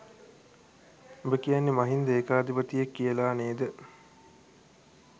උඹ කියන්නේ මහින්ද ඒකාධිපතියෙක් කියලා නේද?